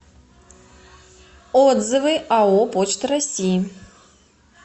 отзывы ао почта россии